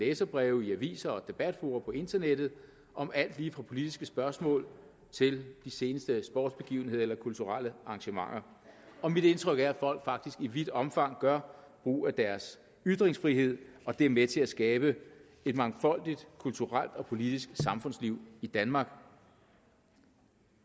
læserbreve i aviser og debatfora på internettet om alt lige fra politiske spørgsmål til de seneste sportsbegivenheder eller kulturelle arrangementer mit indtryk er at folk faktisk i vidt omfang gør brug af deres ytringsfrihed og det er med til at skabe et mangfoldigt kulturelt og politisk samfundsliv i danmark